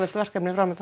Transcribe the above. verkefni